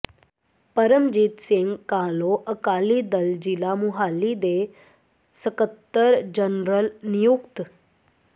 ਪਰਮਜੀਤ ਸਿੰਘ ਕਾਹਲੋਂ ਅਕਾਲੀ ਦਲ ਜਿਲ੍ਹਾ ਮੁਹਾਲੀ ਦੇ ਸਕੱਤਰ ਜਨਰਲ ਨਿਯੁਕਤ